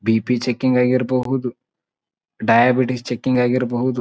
BP checking ಆಗಿರಬಹುದು diabetes checking ಆಗಿರಬಹುದು.